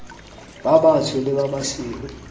ba batsho le ba basweu